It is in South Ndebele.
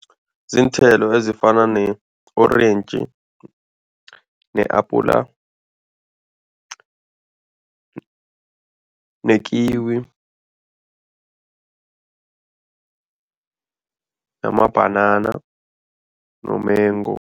Ziinthelo ezifana ne-orentji, ne-apula, nekiwi, namabhanana nomengu.